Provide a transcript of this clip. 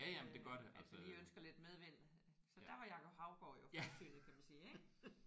Øh altså lige ønsker lidt medvind så der var Jacob Haugaard jo fremsynet kan man sige ik